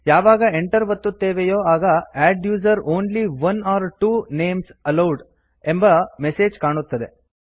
ಯಾವಾಗ enter ಒತ್ತುತ್ತೇವೆಯೋ ಆಗ adduser only one or two names allowed ಎಂಬ ಮೆಸೆಜ್ ಕಾಣುತ್ತದೆ